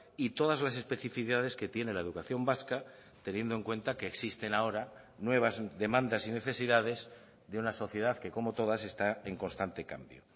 y todas las especificidades que tiene la educación vasca teniendo en cuenta que existen ahora nuevas demandas y necesidades de una sociedad que como todas está en constante cambio